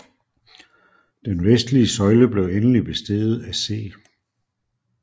Den vestlige søjle blev endeligt besteget af C